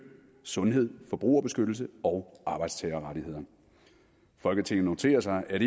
sundhed forbrugerbeskyttelse og arbejdstagerrettigheder folketinget noterer sig at